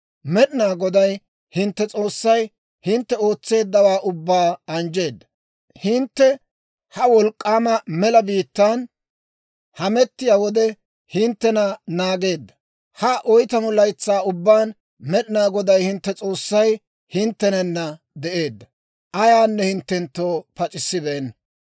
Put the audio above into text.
« ‹Med'inaa Goday hintte S'oossay hintte ootseeddawaa ubbaa anjjeedda; hintte ha wolk'k'aama mela biittaan hamettiyaa wode, hinttena naageedda. Ha oytamu laytsaa ubbaan Med'inaa Goday hintte S'oossay hinttenana de'eedda. Ayaanne hinttenttoo pac'issibeenna.